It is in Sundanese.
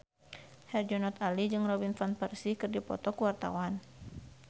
Herjunot Ali jeung Robin Van Persie keur dipoto ku wartawan